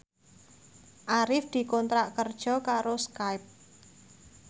Arif dikontrak kerja karo Skype